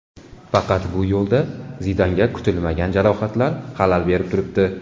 Faqat bu yo‘lda Zidanga kutilmagan jarohatlar xalal berib turibdi.